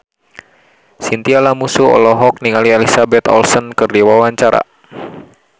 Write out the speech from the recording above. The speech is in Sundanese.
Chintya Lamusu olohok ningali Elizabeth Olsen keur diwawancara